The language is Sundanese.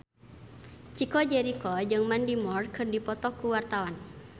Chico Jericho jeung Mandy Moore keur dipoto ku wartawan